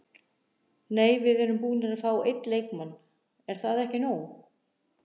Nei við erum búnir að fá einn leikmann, er það ekki nóg?